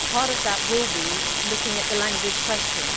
Part of that will be looking at the language question.